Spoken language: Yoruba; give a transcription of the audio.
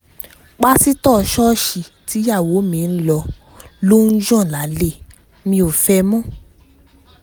pásítọ̀ ṣọ́ọ̀ṣì tíyàwó mi ń lọ ló ń yàn lálẹ́ mi ò fẹ́ ẹ mọ́